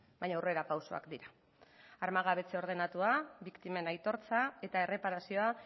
baina aurrerapausoak dira armagabetze ordenatua biktimen aitortza eta erreparazioa